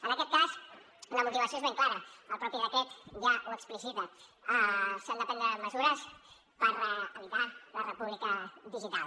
en aquest cas la motivació és ben clara el mateix decret ja ho explicita s’han de prendre mesures per evitar la república digital